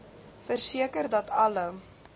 verseker dat alle